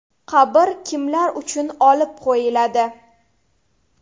Qabr kimlar uchun olib qo‘yiladi?